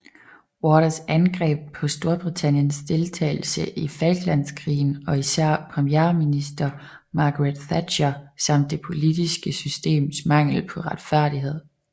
Waters angreb også Storbritanniens deltagelse i Falklandskrigen og især premierminister Margaret Thatcher samt det politiske systems mangel på retfærdighed